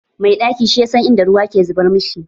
Mai ɗaki shi ya san inda ruwa ke zubar mashi.